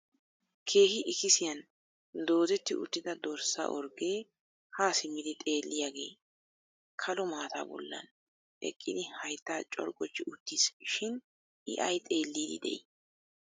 keehi ikkissiniyaan doodetti uttida dorssa orggee ha simmidi xeelliyaage kalo maata bollan eqqidi haytta corggochi uttiis shin I ay xeellidi de'i?